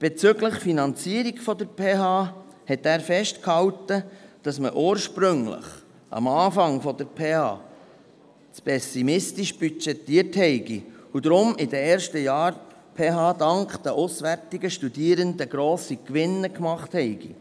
Bezüglich der Finanzierung der PH Bern hielt er fest, dass man ursprünglich, als die PH Bern den Betrieb aufnahm, zu pessimistisch budgetiert habe und die PH Bern deshalb in den ersten Jahren dank den auswärtigen Studierenden grosse Gewinne gemacht habe.